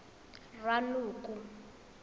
ranoko